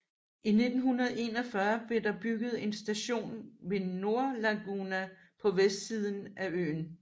I 1941 blev der bygget en station ved Nordlaguna på vestsiden af øen